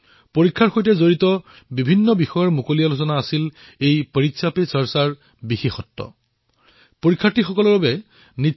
পৰীক্ষা পে চৰ্চাৰ বিশেষত্ব হল যে পৰীক্ষাৰ সৈতে জড়িত বিভিন্ন বিষয়ৰ ওপৰত মুকলিকৈ আলোচনা হল